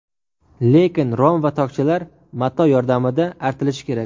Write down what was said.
Lekin rom va tokchalar mato yordamida artilishi kerak.